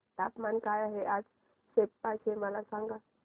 तापमान काय आहे आज सेप्पा चे मला सांगा